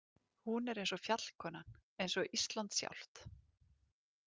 Hún er eins og fjallkonan, eins og Ísland sjálft.